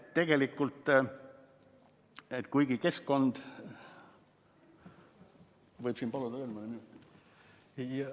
Kas võib paluda veel mõne minuti?